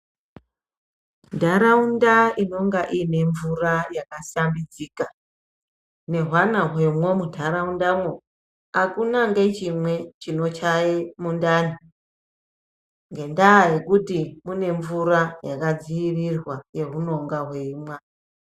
Ntaraunda inonga ine mvura yakasambidzika nehwana hwemwo muntaraundamwo. Hakuna ngechimwe chinocheye mundani. Ngendaa yekuti kune mvura yakadzirirwa yehunonga hweimwa.